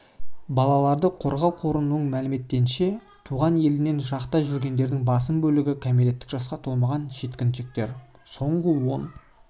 балаларды қорғау қорының мәліметінше туған елінен жырақта жүргендердің басым бөлігі кәмелеттік жасқа толмаған жеткіншектер соңғы он